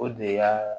O de y'aa